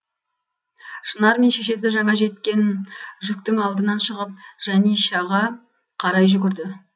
шынар мен шешесі жаңа жеткен жүктің алдынан шығып жанишаға қарай жүгірді